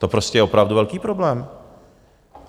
To prostě je opravdu velký problém.